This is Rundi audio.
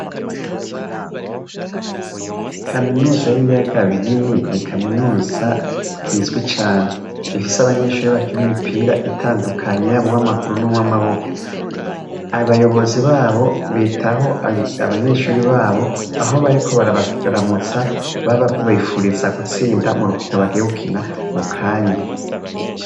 Kaminuza y'ibiyaga binini ni Kaminuza izwi cane, ifise abanyeshure bakin'imipira yab'uw'amaguru n'uw'amaboko, abayobozi baho bitaho abanyeshure baho, aho bariko barabaramutsa babipfuriza gutsinda murukono bagiye gukina mukanya.